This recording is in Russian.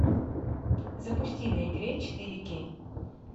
запусти на игре четыре кей